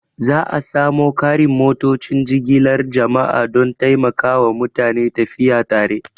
Za a sa mu ƙarin motocin jigilar jama'a don taimakawa mutane tafiya tare